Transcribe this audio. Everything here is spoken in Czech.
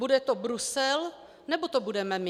Bude to Brusel, nebo to budeme my?